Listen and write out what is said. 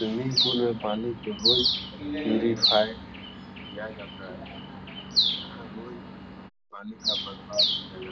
Swimming pool में पानी को रोज प्योरिफाइ किया जाता है। यहाँ रोज पानी का बदलाव किया जाता है।